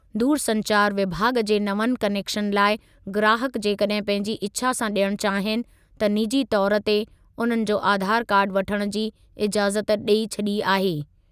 दूरसंचार विभाॻ जे नवनि क्नेकशन लाइ ग्राहक जेकॾहिं पंहिंजी इछा सां ॾियण चाहीनि, त निजी तौर ते उन्हनि जो आधार कार्डु वठण जी इज़ाज़त ॾेई छॾी आहे।